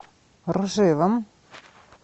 ржевом